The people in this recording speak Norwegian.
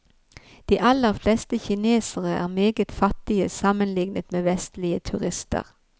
De aller fleste kinesere er meget fattige sammenlignet med vestlige turister.